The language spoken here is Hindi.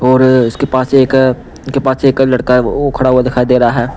और इसके पास एक के पास एक लड़का है वो खड़ा हुआ दिखाई दे रहा है।